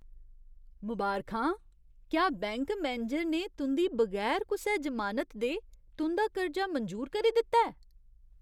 मबारखां! क्या bank manager ने तुं'दी बगैर कुसै जमानत दे तुं'दा कर्जा मंजूर करी दित्ता ऐ?